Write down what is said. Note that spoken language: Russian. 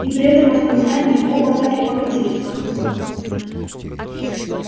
и при этом воспоминании оба так и покатились со смеху